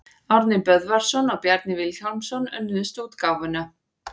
Árni Böðvarsson og Bjarni Vilhjálmsson önnuðust útgáfuna.